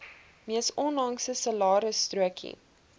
mees onlangse salarisstrokie